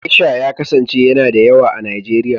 Gesha ya kasance yana da yawa a Nijeriya.